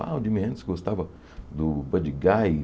Ah, o Jimi Hendrix gostava do Buddy Guy.